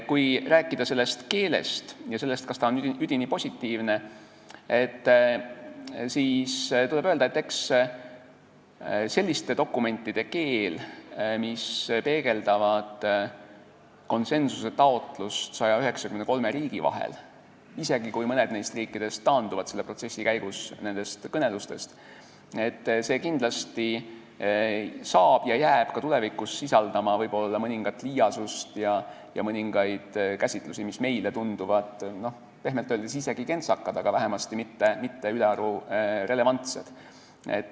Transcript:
Kui rääkida kasutatud keelest ja sellest, kas see on üdini positiivne, siis tuleb öelda, et eks selliste dokumentide keel, mis peegeldavad konsensusetaotlust 193 riigi vahel, jääb isegi siis, kui mõni neist riikidest taandub protsessi käigus nendest kõnelustest, kindlasti ka tulevikus sisaldama võib-olla mõningat liiasust ja mõningaid käsitlusi, mis meile tunduvad pehmelt öeldes isegi kentsakad või vähemasti mitte ülearu relevantsed.